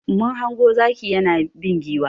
Mun hango zaki yana bin giwa.